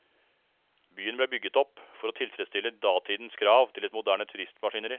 Byen ble bygget opp for å tilfredsstille datidens krav til et moderne turistmaskineri.